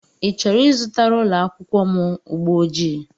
I chọrọ ịzụtara ụlọakwụkwọ m ụgbọjii?